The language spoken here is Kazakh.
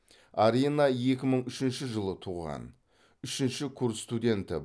арина екі мың үшінші жылы туған үшінші курс студенті